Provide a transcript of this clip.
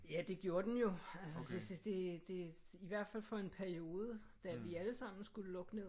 Ja det gjorde den jo. Altså så det det i hvert fald for en periode da vi alle sammen skulle lukke ned